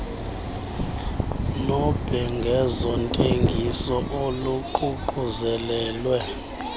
nobhengezo ntengiso oluququzelelwe